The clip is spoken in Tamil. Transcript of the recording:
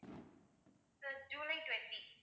sir July twenty